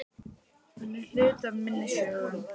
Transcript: Hann er hluti af minni sögu.